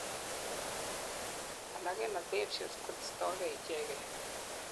alak en adhesions koistogei ichegen